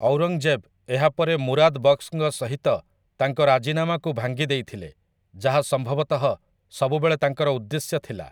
ଔରଙ୍ଗଜେବ୍ ଏହା ପରେ ମୁରାଦ୍ ବକ୍ସଙ୍କ ସହିତ ତାଙ୍କ ରାଜିନାମାକୁ ଭାଙ୍ଗି ଦେଇଥିଲେ, ଯାହା ସମ୍ଭବତଃ ସବୁବେଳେ ତାଙ୍କର ଉଦ୍ଦେଶ୍ୟ ଥିଲା ।